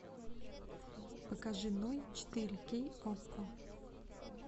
покажи ной четыре кей окко